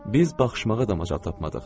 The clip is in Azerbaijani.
Biz baxışmağa da macal tapmadıq.